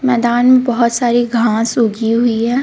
मैदान में बोहोत सारी घास उगी हुई है